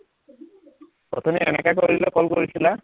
অথনি এনেকে কৰি পেলাই call কৰিছিলা